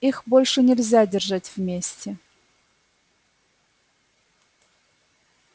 их больше нельзя держать вместе